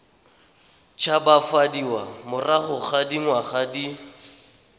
tshabafadiwa morago ga dingwaga di